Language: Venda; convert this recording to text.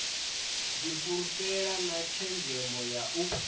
difhulufhela na tshenzhemo ya u